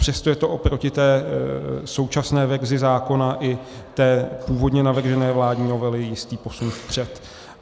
Přesto je to oproti té současné verzi zákona i té původně navržené vládní novele jistý posun vpřed.